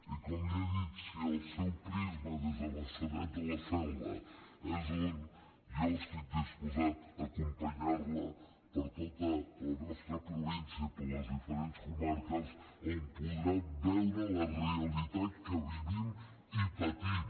i com li he dit si el seu prisma des de maçanet de la selva és un jo estic disposat a acompanyar la per tota la nostra província i per les diferents comarques on podrà veure la realitat que vivim i patim